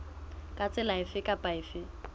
ka tsela efe kapa efe